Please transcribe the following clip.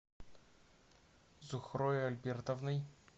зухрой альбертовной